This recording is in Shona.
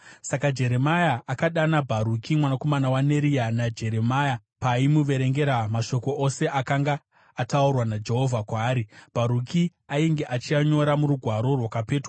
Saka Jeremia akadana Bharuki mwanakomana waNeria, naJeremia, paaimuverengera mashoko ose akanga ataurwa naJehovha kwaari, Bharuki ainge achianyora murugwaro rwakapetwa.